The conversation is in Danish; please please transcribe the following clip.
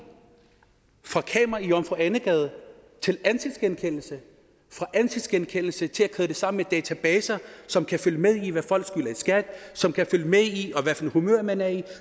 fra kameraer i jomfru ane gade til ansigtsgenkendelse fra ansigtsgenkendelse til at køre det sammen med databaser som kan følge med i hvad folk skylder i skat som kan følge med i hvad for et humør man er i